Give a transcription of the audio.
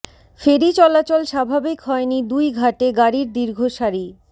ফেরি চলাচল স্বাভাবিক হয়নি দুই ঘাটে গাড়ির দীর্ঘ সারি